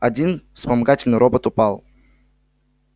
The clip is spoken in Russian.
один вспомогательный робот упал